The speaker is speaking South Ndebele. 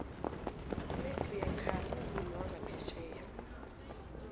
umaxia khari mvumi wangaphetjheya